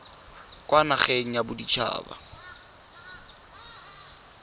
kwa nageng ya bodit haba